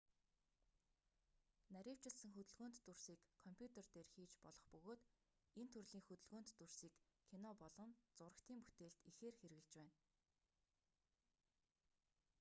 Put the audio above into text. нарийвчилсан хөдөлгөөнт дүрсийг компьютер дээр хийж болох бөгөөд энэ төрлийн хөдөлгөөнт дүрсийг кино болон зурагтын бүтээлд ихээр хэрэглэж байна